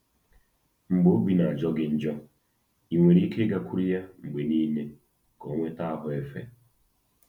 Mgbe obi na-ajọ gị njọ, i nwere ike ịgakwuru ya mgbe niile ka o nweta “ahụ́ efe.”